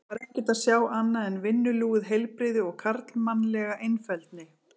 Þar var ekkert að sjá annað en vinnulúið heilbrigði og karlmannlega einfeldni.